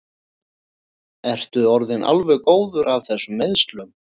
Ertu orðinn alveg góður af þessum meiðslum?